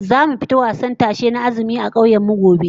Zamu fita wasan tashe na azumi a kauyen mu gobe